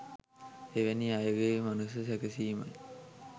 එවැනි අයගේ මනස සැකසීමයි.